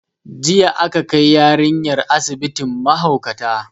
Jiya aka kai yarinyar asibitin mahaukata